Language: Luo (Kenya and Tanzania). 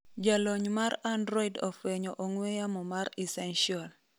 Jalony mar Android ofwenyo ong'we yamo mar Essential